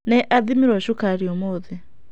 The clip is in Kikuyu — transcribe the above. Nĩ athĩmirwo cukari ũmũthĩ.